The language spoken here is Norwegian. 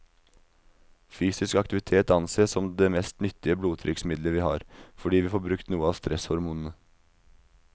Fysisk aktivitet ansees som det mest nyttige blodtrykksmiddelet vi har, fordi vi får brukt noe av stresshormonene.